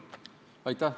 Aitäh!